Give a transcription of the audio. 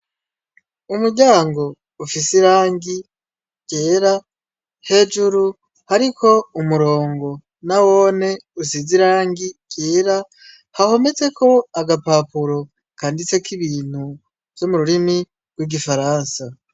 Umuryango ufise irangi ryera hejuru hariko umurongo nawone usize irangi ryera hahometse ko agapapuro kanditse ko ibintu vyo mu rurimi rw'igifaransa.